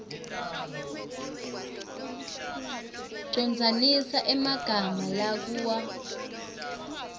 condzanisa emagama lakua